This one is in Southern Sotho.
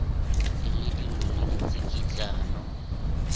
e le dillo le ditsikitlano